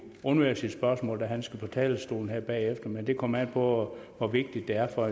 undvære sit spørgsmål da han skal på talerstolen her bagefter men det kommer an på hvor vigtigt det er for